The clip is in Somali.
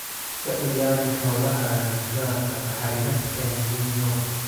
Ka ilaali xoolahaaga daadadka la xiriira El Niño.